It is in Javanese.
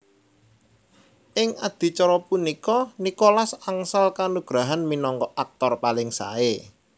Ing adicara punika Nicholas angsal kanugrahan minangka aktor paling sae